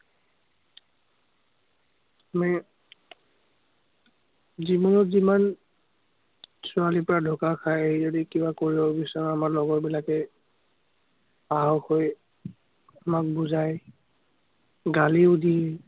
আমি, জীৱনত যিমান ছোৱালীৰপৰা ঢোকা খাই আহি যদি কিবা কৰিব বিচাৰা, আমাৰ লগৰ বিলাকে সাহস হৈ আমাক বুজায়। গালিও দিয়ে।